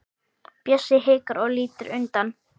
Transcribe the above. Bjössi hikar og lítur undan.